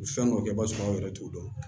Fɛn dɔw kɛ i b'a sɔrɔ aw yɛrɛ t'o dɔn